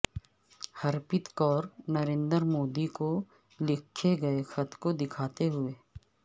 ہرپیت کور نریندر مودی کو لکھے گیے خط کو دکھاتے ہوئے